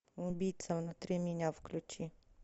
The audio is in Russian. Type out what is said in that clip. убийца внутри меня включи